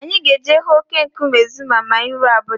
Anyị ga-eje ịhụ óké nkume Zuma ma anyị ruo Abuja.